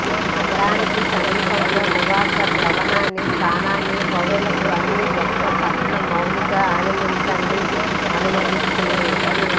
నగరానికి సమీపంలో నివాస భవనాన్ని స్థానాన్ని పౌరులకు అన్ని గొప్ప పట్టణ మౌలిక ఆనందించండి అనుమతిస్తుంది